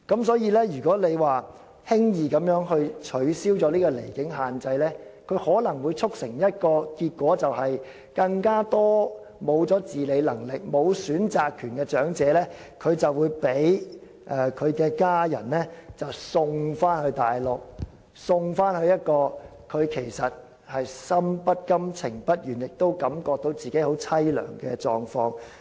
所以，如果輕易取消離境限制，可能會導致一個結果，便是更多失去自理能力、沒有選擇權的長者會被家人送到內地，處於一個心不甘、情不願，並且感到自己十分淒涼的狀況。